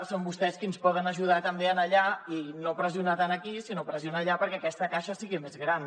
són vostès qui ens poden ajudar també allà i no pressionar tant aquí sinó pressionar allà perquè aquesta caixa sigui més gran